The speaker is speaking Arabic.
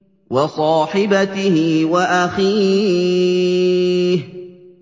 وَصَاحِبَتِهِ وَأَخِيهِ